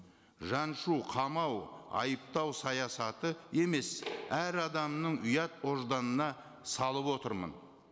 жаншу қамау айыптау саясаты емес әр адамның ұят божданына салып отырмын